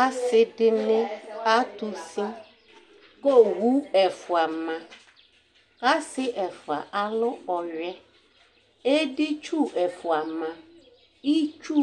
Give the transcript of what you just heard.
Asɩ dɩnɩ atʋ usi kʋ owu ɛfʋa ma kʋ asɩ ɛfʋa alʋ ɔyʋɛ Editsu ɛfʋa ma Itsu